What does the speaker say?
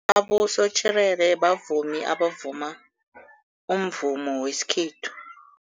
Abosotjherere bavumi abavuma umvumo wesikhethu.